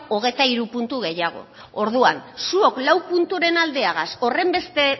hogeita hiru puntu gehiago orduan zuok lau punturen aldeagaz horrenbeste